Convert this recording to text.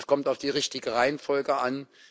Es kommt auf die richtige Reihenfolge an.